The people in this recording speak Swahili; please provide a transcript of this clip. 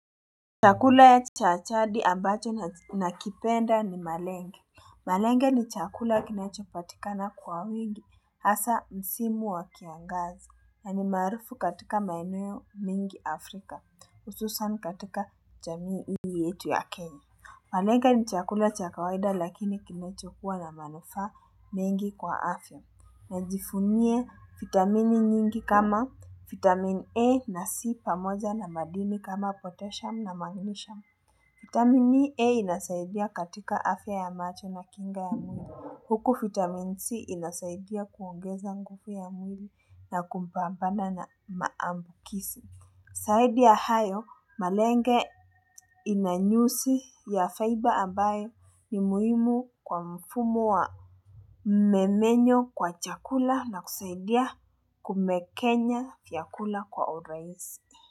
Chakula ya cha jadi ambacho na kipenda ni malenge. Malenge ni chakula kinachopatikana kwa wingi hasa msimu wa kiangazi na ni marufu katika maeneo mengi Afrika hususan katika jamii hii yetu ya kenya Malenge ni chakula cha kawaida lakini kinecho kuwa na manufa mengi kwa afya na jifunie vitamini nyingi kama vitamini A na C pamoja na madini kama potassium na magnisham. Vitamini A inasaidia katika afya ya macho na kinga ya mwili. Huku vitamini C inasaidia kuongeza nguvu ya mwili na kumpambana na maambukizi. Zaidi ya hayo, malenge inanyusi ya faiba ambayo ni muhimu kwa mfumo wa memenyo wa chakula na kusaidia kumekenya chakula kwa urahisi.